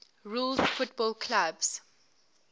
rules football clubs